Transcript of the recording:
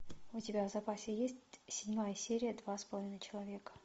у тебя в запасе есть седьмая серия два с половиной человека